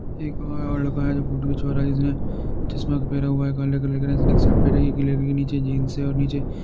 एक वह लड़का है जो फ़ोटो खिचवा रहा है। जिसने चश्मा पेहरा हुआ है के नीचे जीन्स है और नीचे --